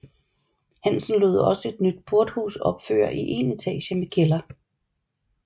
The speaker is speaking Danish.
Hansen lod også et nyt porthus opføre i én etage med kælder